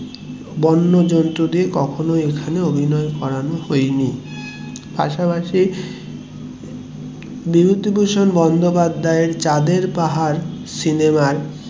বন্য জন্তুদের কখনোই এখানে অভিনয় করানো হয়নি, পাশাপাশি বিভূতিভূষণ বন্দোপাধ্যায়য়ের চাঁদের পাহাড় সিনেমার